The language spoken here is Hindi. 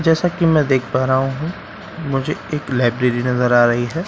जैसे कि मैं देख पा रहा हूं मुझे एक लाइब्रेरी नजर आ रही है ।